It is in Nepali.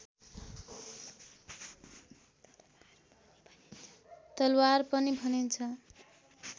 तलवार पनि भनिन्छ